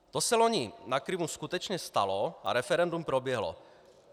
To se loni na Krymu skutečně stalo a referendum proběhlo.